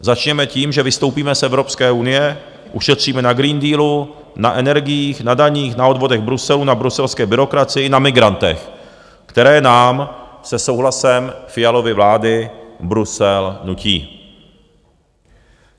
Začněme tím, že vystoupíme z Evropské unie, ušetříme na Green Dealu, na energiích, na daních, na odvodech Bruselu, na bruselské byrokracii, na migrantech, které nám se souhlasem Fialovy vlády Brusel nutí.